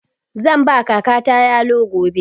Zan ba kakata yalo gobe.